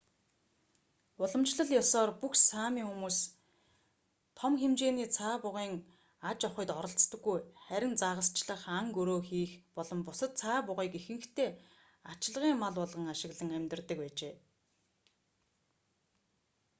уламжлал ёсоор бүх сами хүмүүс том хэмжээний цаа бугын аж ахуйд оролцдоггүй харин загасчлах ан гөрөө хийх болон цаа бугыг ихэнхдээ ачлагын мал болгон ашиглан амьдардаг байжээ